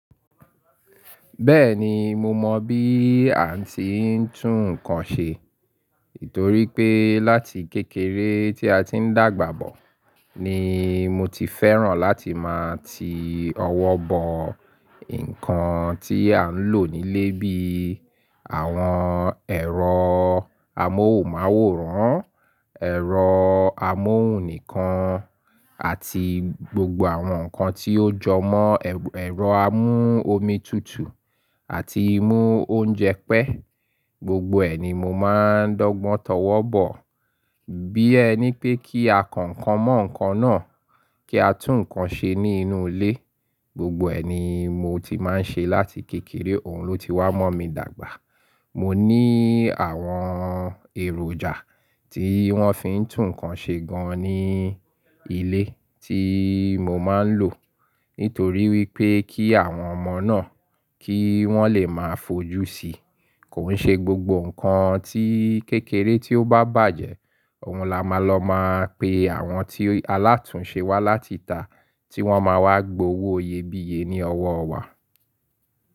Bẹ́ẹ̀ni, mo mọ bí à n tí ń tún nǹkan ṣe, torí pé láti kékeré tí a tí ń dàgbà bọ̀ ni mo ti fẹ́ràn láti máa ti ọwọ́ bọ nǹkan tí à ń lò nílé bíi àwọn ẹ̀rọ amóhùnmáwòrán, ẹ̀rọ amóhùn nìkan àti gbogbo àwọn nǹkan tí ó jọ mọ́ ẹ̀rọ amú omi tùtù àti mú oúnjẹ pẹ́. Gbogbo ẹ ni mo máa ń dọ́gbọ́n tọwọ́ bọ̀. Bí ẹ ni pé kí á kọ ǹkan mọ́ ǹkan náà, kí á tún ǹkan ṣe ní inú ilé, gbogbo ẹ ni mo ti máa ń ṣe láti kékeré, òhun ló ti wá mọ̀ mí dàgbà. Mo ní àwọn èròjà tí wọ́n fi ń tún ǹkan ṣe gan ní ilé tí mo máa ń lò, nítorí wípé kí àwọn ọmọ náà kí wọ́n lè máa fojú sí i. Kò ń ṣe gbogbo ǹkan tí kékeré tí ó bá bàjẹ́, òhun la máa lọ máa pe àwọn tí alátùnṣe wá láti ìta tí wọ́n máa wá gbowó iyèbíye ní ọwọ́ wa.